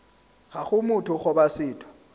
ga go motho goba setho